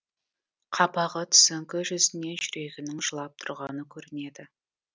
қабағы түсіңкі жүзінен жүрегінің жылап тұрғаны көрінеді